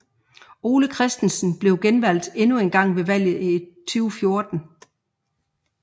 Ole Christensen blev genvalgt endnu engang ved valget i 2014